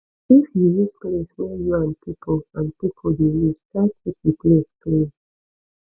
if you use place wey you and pipo and pipo de use try keep di place clean